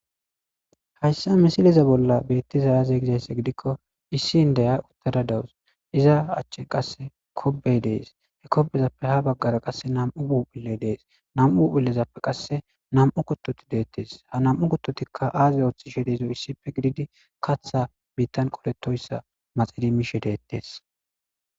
Hayssa misileza bolla beettizy aze gizaysse gidikko issi indiya uttada dawus. iza achche qasse kobey dees. he kobezappe ha baggara qasse nam"u phuuphuley dees. nam"u phuphillezappe qasse nam"u kottoti deettes. ha nam"u kuttotikka aaze ooththishe dizo issife gididi katha biittan qoletoyssa maxidi miishe deettes.